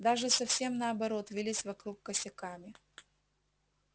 даже совсем наоборот вились вокруг косяками